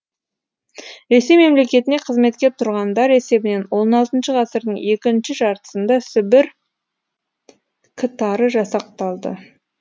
ресей мемлекетіне қызметке тұрғандар есебінен он алтыншы ғасырдың екінші жартысында сібір к тары жасақталды